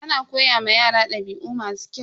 Ana koya ma yara dabi'u masu kyau.